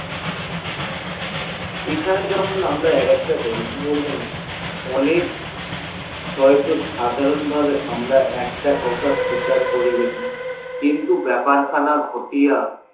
এখানে যখন আমরা একটা গল্প বলব না অনেক হয়েত সাধারণ ভাবে আমরা একটা শিকার করি বেশি কিন্তু বেপার খানা খুটিয়া